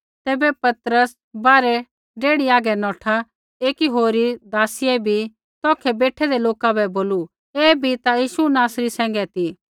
तैबै पतरस बाहरै डेही हागै नौठा ता एकी होरी नोकराणियै बी तौखै बेठैंदै लोका बै बोलू ऐ बी ता यीशु नासरी सैंघै ती